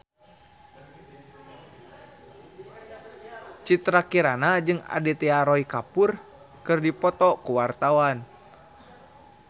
Citra Kirana jeung Aditya Roy Kapoor keur dipoto ku wartawan